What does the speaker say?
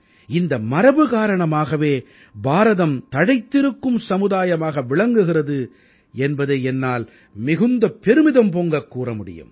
இந்த மரபு காரணமாகவே பாரதம் தழைத்திருக்கும் சமுதாயமாக விளங்குகிறது என்பதை என்னால் மிகுந்த பெருமிதம் பொங்கக் கூற முடியும்